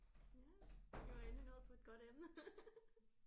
Ja vi var endelig nået på et godt emne